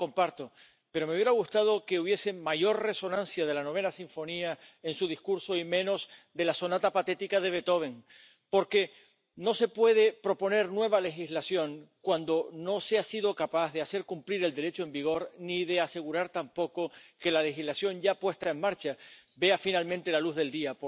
Lo comparto, pero me hubiera gustado que hubiese mayor resonancia de la en su discurso y menos de la de Beethoven, porque no se puede proponer nueva legislación cuando no se ha sido capaz de hacer cumplir el Derecho en vigor, ni de asegurar tampoco que la legislación ya puesta en marcha vea finalmente la luz del día.